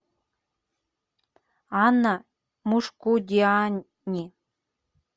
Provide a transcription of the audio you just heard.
анна мушкудиани